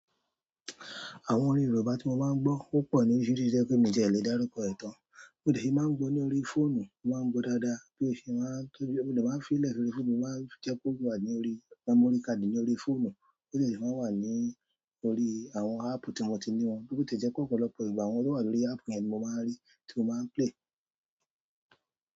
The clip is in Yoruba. Àwọn orin Yorùbá tí mo máa ń gbọ́ ó pọ̀ loríṣiríṣi tó jẹ́ pé mi ò tiẹ̀ lè dárúkọ ẹ̀ tàn. Mo dẹ̀ sí máa ń gbọ́ ní orí fóònù, mo máa ń gbọ́ dáadáa bí mo ṣe máa ń-- tóbí mo dẹ̀ máa ń fiílẹ̀ lórí fóònù, mo máa ń jẹ́ kó wà ní orí, memory káàdì ní orí fóònù, ó dẹ̀ sì máa ń wà ní orí àwọn áàpù tí mo ti ní wọn. Bó tiẹ̀ jẹ́ pé ọ̀pọ̀lọpọ̀ ìgbà àwọn tó wà lórí áàpù yẹn ni mo máa ń rí tí mo máa ń play.